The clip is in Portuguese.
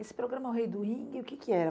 Esse programa O Rei do Ringue, o que que era?